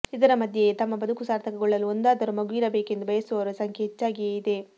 ಇದರ ಮಧ್ಯೆಯೇ ತಮ್ಮ ಬದುಕು ಸಾರ್ಥಕಗೊಳ್ಳಲು ಒಂದಾದರೂ ಮಗುವಿರಬೇಕೆಂದು ಬಯಸುವವರ ಸಂಖ್ಯೆ ಹೆಚ್ಚಾಗಿಯೇ ಇದೆ